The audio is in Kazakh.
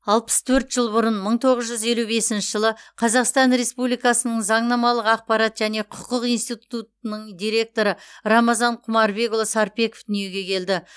алпыс төрт жыл бұрын мың тоғыз жүз елу бесінші қазақстан республикасының заңнамалық ақпарат және құқық институтының директоры рамазан құмарбекұлы сарпеков дүниеге келді